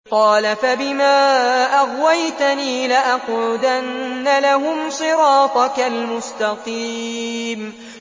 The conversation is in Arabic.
قَالَ فَبِمَا أَغْوَيْتَنِي لَأَقْعُدَنَّ لَهُمْ صِرَاطَكَ الْمُسْتَقِيمَ